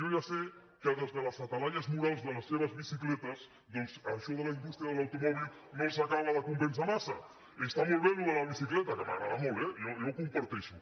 jo ja sé que des de les talaies morals de les seves bicicletes doncs això de la indústria de l’automòbil massa està molt bé això de la bicicleta que m’agrada molt eh jo ho comparteixo